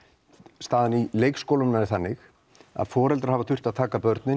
staðan í leikskólunum er þannig að foreldrar hafa þurft að taka börn